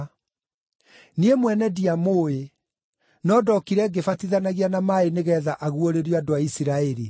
Niĩ mwene ndiamũũĩ, no ndokire ngĩbatithanagia na maaĩ nĩgeetha aguũrĩrio andũ a Isiraeli.”